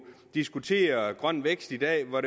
diskutere grøn vækst i dag hvor